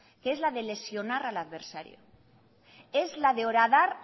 que es la de lesionar al adversario es la de horadar